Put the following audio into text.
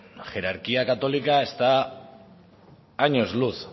la jerarquía católica está a años luz